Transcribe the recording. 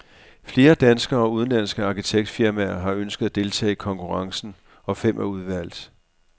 Flere danske og udenlandske arkitektfirmaer har ønsket at deltage i konkurrencen, og fem er udvalgt.